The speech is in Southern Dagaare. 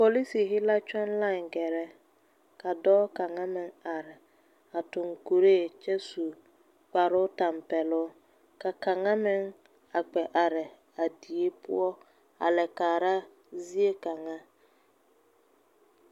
Polisihi la kyɔŋ lae gɛrɛ ka dɔɔ kaŋa meŋ are a tuŋ kuree kyɛ su kparoo tampɛloo ka kaŋa meŋ a kpɛ are a die poɔ a la kaara ziekaŋa.